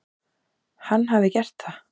Hann hafi gert það.